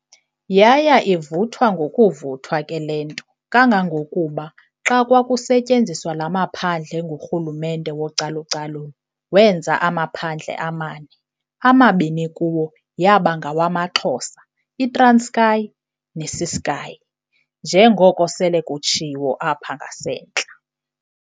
Yaya ivuthwa ngokuvuthwa ke lento, kangangokuba xa kwakusenziwa laa maphandle ngurhulumente wocalu-calulo, wenza amaphandle amane, amabini kuwo yaba ngawamaXhosa, iTranskei neCeskei njengoko sele kutshiwo apha ngasentla.